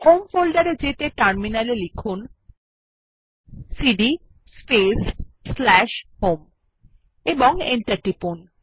home folder এ যেতে terminal এ লিখুন সিডি স্পেস স্ল্যাশ হোম এবং এন্টার টিপুন